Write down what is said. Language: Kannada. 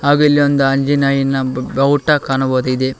ಹಾಗು ಇಲ್ಲಿ ಒಂದ್ ಆಂಜನೇಯನ ಬಾವುಟ ಕಾಣಬೊದಿದೆ.